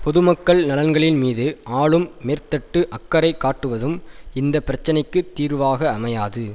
பொதுமக்கள் நலன்களின் மீது ஆளும் மேற்தட்டு அக்கறை காட்டுவதும் இந்த பிரச்சனைக்கு தீர்வாக அமையாது